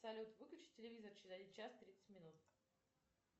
салют выключи телевизор через час тридцать минут